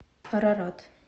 арарат